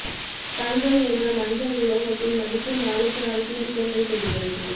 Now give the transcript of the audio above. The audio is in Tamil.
தங்கம் என்ற மஞ்சள் உலோகத்தின் மதிப்பு நாளுக்கு நாள் கூடிக்கொண்டே போகிறது